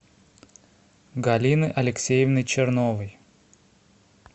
галины алексеевны черновой